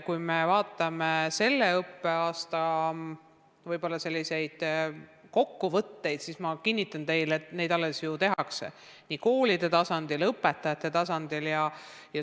Kui me vaatame selle õppeaasta kokkuvõtteid, siis kinnitan teile, et neid asju alles arutatakse nii koolide tasandil kui ka õpetajate tasandil.